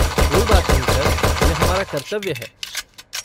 कोई बात नहीं सर, यह हमारा कर्तव्य है।